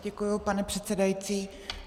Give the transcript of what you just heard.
Děkuji, pane předsedající.